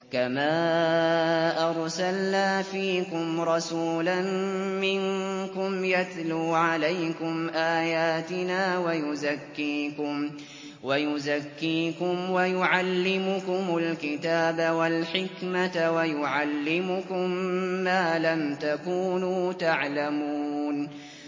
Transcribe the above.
كَمَا أَرْسَلْنَا فِيكُمْ رَسُولًا مِّنكُمْ يَتْلُو عَلَيْكُمْ آيَاتِنَا وَيُزَكِّيكُمْ وَيُعَلِّمُكُمُ الْكِتَابَ وَالْحِكْمَةَ وَيُعَلِّمُكُم مَّا لَمْ تَكُونُوا تَعْلَمُونَ